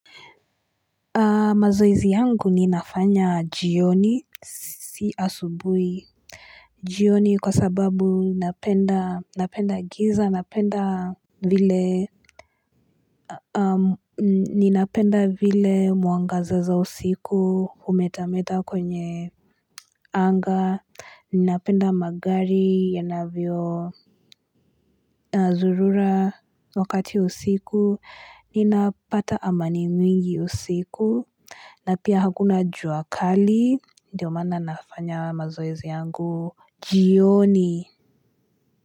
Mazoezi yangu ninafanya jioni si asubuhi jioni kwa sababu napenda napenda giza napenda vile Ninapenda vile mwanga za usiku humetameta kwenye anga Ninapenda magari yanavyo zurura wakati usiku ninapata amani mwingi usiku na pia hakuna jua kali Ndiyo maana nafanya mazoezi yangu jioni.